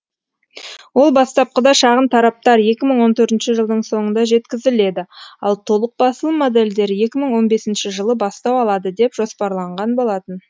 ол бастапқыда шағын тараптар екі мың он төртінші жылдың соңында жеткізіледі ал толық басылым модельдері екі мың он бесінші жылы бастау алады деп жоспарланған болатын